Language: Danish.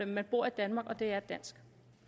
man bor i danmark og det er dansk